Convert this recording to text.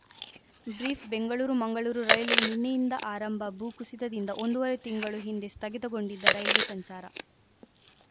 brief Bengaluru Mangaluru rail ನಿನ್ನೆಯಿಂದ ಆರಂಭ ಭೂಕುಸಿತದಿಂದ ಒಂದೂವರೆ ತಿಂಗಳು ಹಿಂದೆ ಸ್ಥಗಿತಗೊಂಡಿದ್ದ ರೈಲ್ವೆ ಸಂಚಾರ